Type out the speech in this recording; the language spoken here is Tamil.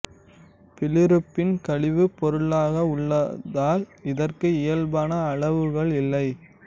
பிலிருபின் கழிவுப் பொருளாக உள்ளதால் இதற்கு இயல்பான அளவுகள் இல்லை